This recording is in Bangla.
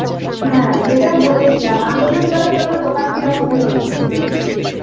হ্যাঁ যেটা বলেছিলাম আগে তুমি বলো তোমার দোকান কি রকম চলছে